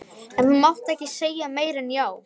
En þú mátt ekki segja meira en já.